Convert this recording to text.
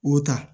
O ta